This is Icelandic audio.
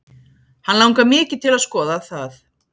Hann langar mikið til að skoða það.